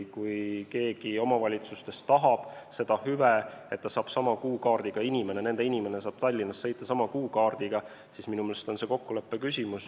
Kui keegi omavalitsustest tahab seda hüve, et nende inimene saab Tallinnas sõita sama kuukaardiga, siis minu meelest on see kokkuleppe küsimus.